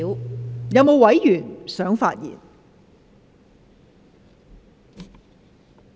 是否有委員想發言？